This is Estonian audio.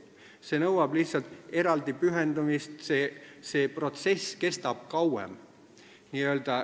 See nõuab lihtsalt eraldi pühendumist, protsess kestab kauem.